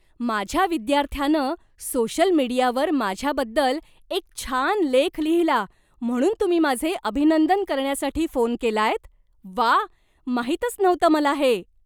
माझ्या विद्यार्थ्यानं सोशल मीडियावर माझ्याबद्दल एक छान लेख लिहिला म्हणून तुम्ही माझे अभिनंदन करण्यासाठी फोन केलायत? व्वा, माहितच नव्हतं मला हे.